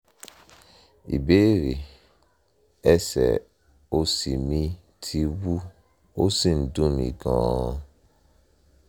ìbéèrè: ẹsẹ̀ òsì mi ti wú ó sì ń dùn mí gan-an